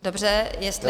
Dobře, jestli...